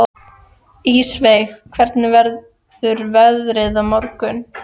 Ísveig, hvernig verður veðrið á morgun?